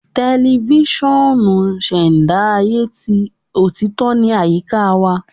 Tẹlifisiọnu ṣẹda aye ti otito ni ayika wa